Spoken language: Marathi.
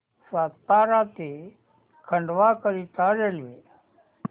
सातारा ते खंडवा करीता रेल्वे